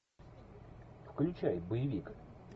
включай боевик